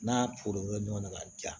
N'a foronto ɲɔgɔnna ka di yan